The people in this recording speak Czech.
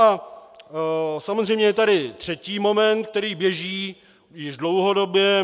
A samozřejmě je tady třetí moment, který běží již dlouhodobě.